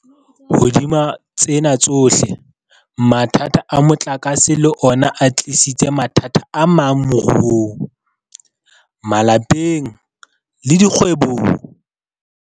Hodima tsena tsohle, mathata a motlakase le ona a tlisitse mathata amang moruong, malapeng le dikgwebong.